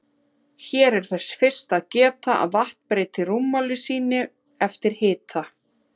Hér er þess fyrst að geta að vatn breytir rúmmáli sínu eftir hita.